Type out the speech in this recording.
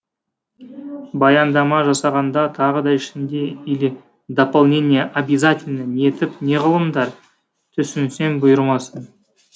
баяндама жасағанда тағы да ішінде или дополнение обязательно нетіп неғылыңдар түсінсем бұйырмасын